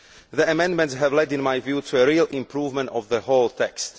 The amendments have led, in my view, to a real improvement of the whole text.